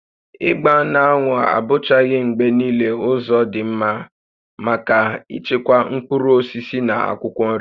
Ịgba n'anwụ abụchaghị mgbe niile ụzọ dị mma maka ichekwa mkpụrụ osisi na akwụkwọ nri